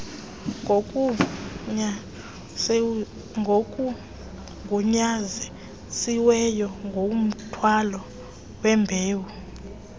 ngokugunyazisiweyo kumthwalo wembewu